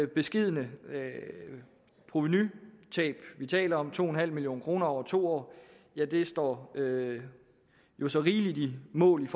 beskedne provenutab vi taler om to million kroner over to år står jo så rigeligt mål